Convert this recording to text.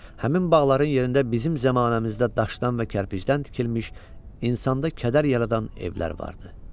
Həmin bağların yerində bizim zəmanəmizdə daşdan və kərpicdən tikilmiş insanda kədər yaradan evlər vardı.